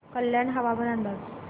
कल्याण हवामान अंदाज